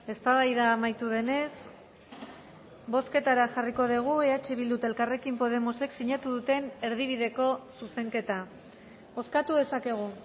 eztabaida amaitu denez bozketara jarriko dugu eh bildu eta elkarrekin podemosek sinatu duten erdi bideko zuzenketa bozkatu dezakegu